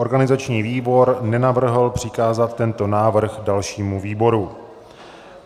Organizační výbor nenavrhl přikázat tento návrh dalšímu výboru.